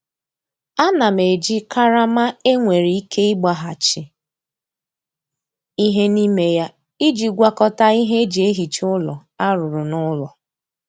Ana m eji karama e nwere ike ịgbaghachi ihe n'ime ya iji gwakọta ihe e ji ehicha ụlọ a rụrụ n'ụlọ.